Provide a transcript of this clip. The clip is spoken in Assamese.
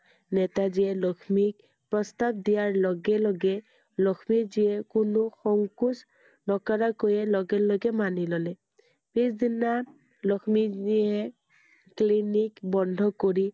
নেতাজীয়ে লক্ষ্মীক প্ৰস্তাৱ দিয়াৰ লগে লগে লক্ষ্মীজীয়ে কোনো সংকোচ নকৰাকৈয়ে লগে লগে মানি ল'লে। পিছ দিনা লক্ষ্মীজীয়ে clinic বন্ধ কৰি